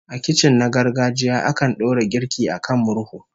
A kicin na gargajiya, akan dora girki a kan murhu